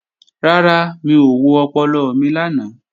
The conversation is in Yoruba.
Rárá, mi ò wo ọpọlọ mi lánàá